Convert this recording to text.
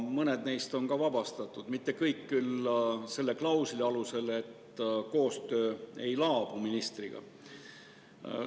Mõned neist on ka vabastatud, mitte kõik küll selle klausli alusel, et koostöö ministriga ei laabu.